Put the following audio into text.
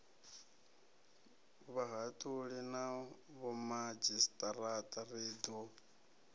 vhahaṱuli na vhomadzhisiṱiraṱa ri ḓo